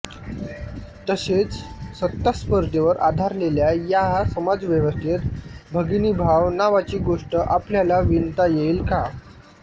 तसेच सत्तास्पर्धेवर आधारलेल्या या समाजव्यवस्थेत भगिनीभाव नावाची गोष्ट आपल्याला विणता येईल का